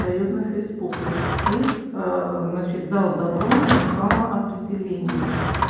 союзных республик и значит дал добро на самоопределение